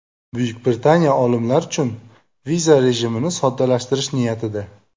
Buyuk Britaniya olimlar uchun viza rejimini soddalashtirish niyatida.